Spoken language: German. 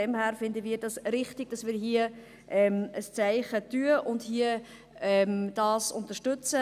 Wir finden es richtig, dass wir hier ein Zeichen setzen und das unterstützen.